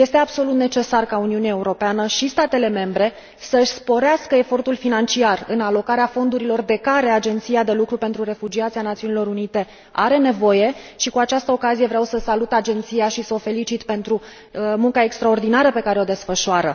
Este absolut necesar ca Uniunea Europeană și statele membre să își sporească efortul financiar în alocarea fondurilor de care Agenția de lucru pentru refugiați a ONU are nevoie și, cu acestă ocazie, vreau să salut Agenția și să o felicit pentru munca extraordinară pe care o desfășoară.